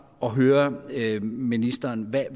at høre ministeren hvad